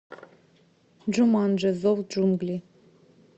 джуманджи зов джунглей